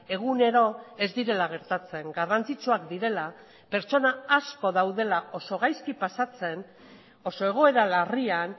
egunero ez direla gertatzen garrantzitsuak direla pertsona asko daudela oso gaizki pasatzen oso egoera larrian